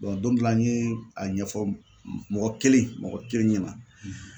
don dɔ la n ye a ɲɛfɔ mɔgɔ kelen mɔgɔ kelen ɲɛna.